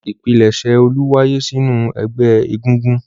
Ìpilẹ̀ṣẹ̀ Olú wáyé sínú ẹgbẹ́ egúngún.